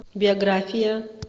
биография